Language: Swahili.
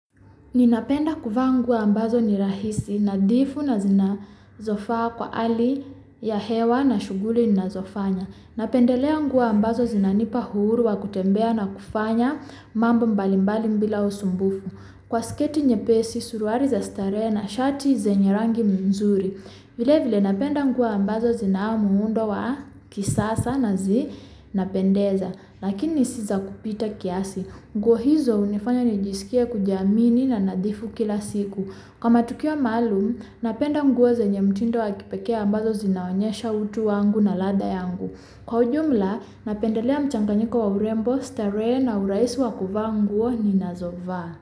Ninapenda kuvaa nguo ambazo nirahisi nadhifu na zinazofaa kwa hali ya hewa na shughuli ninazofanya. Napendelea nguo ambazo zinanipauhuru wa kutembea na kufanya mambo mbalimbali bila usumbufu. Kwa sketi nye pesi suruali za starehena, shati zenyerangi mzuri. Vilevile napenda nguo ambazo zina muundowa kisasa na zi napendeza, lakini siza kupita kiasi. Nguohizo hunifanya nijisikie kujiamini na nadhifu kila siku. Kwa matukio maalum, napenda nguo zenyemtindo wakipekee ambazo zinaonyesha utu wangu na ladhayangu. Kwaujumla, napendelea mchanganyiko wa urembo starehena urahisi wa kuvaa nguo ninazovaa.